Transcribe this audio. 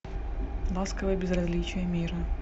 ласковое безразличие мира